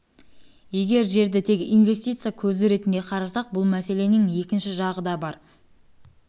егер жерді тек инвестиция көзі ретінде қарасақ бұл мәселенің екінші жағы да бар жер жекеменшікте